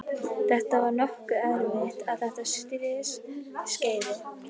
Þetta var nokkru eftir að þetta slys skeði.